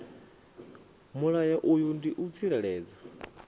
mulayo uyu ndi u tsireledza